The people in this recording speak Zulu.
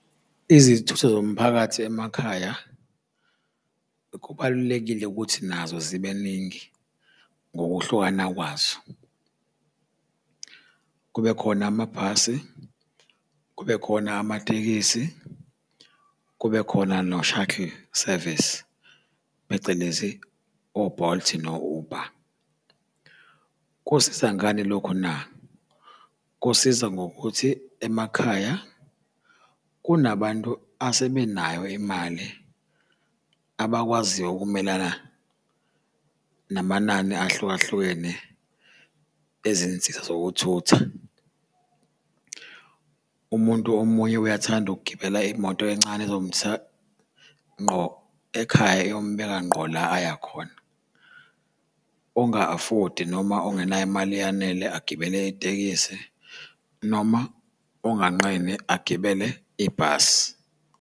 Izithutha zomphakathi emakhaya kubalulekile ukuthi nazo zibe ningi ngokuhlukana kwazo. Kube khona amabhasi, kube khona amatekisi, kube khona no-shuttle service, phecelezi o-Bolt no-Uber. Kusiza ngani lokhu na? Kusiza ngokuthi emakhaya kunabantu asebenayo imali abakwaziyo ukumelana namanani ahlukahlukene ezinsiza zokuthutha. Umuntu omunye uyathanda ukugibela imoto encane ezomthatha ngqo ekhaya iyombheka ngqo la aya khona. Onga-afodi noma ongenayo imali eyanele agibele itekisi noma onganqeni agibele ibhasi.